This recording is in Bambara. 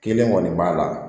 Kelen kɔni b'a la